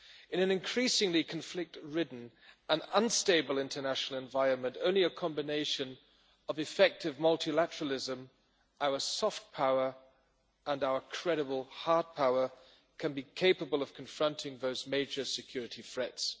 In an increasingly conflict-ridden and unstable international environment, only a combination of effective multilateralism, our soft power and our credible hard power can be capable of confronting those major security threats.